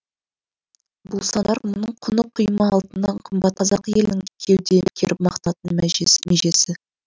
бұл сандар құмының құны құйма алтыннан қымбат қазақ елінің кеуде керіп мақтанатын межесі